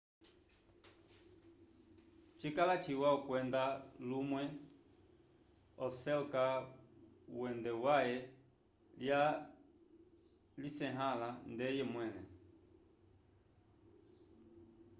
cikala ciwa okwenda lumwe oselka uende waye lya lisyeahala ndeye mwele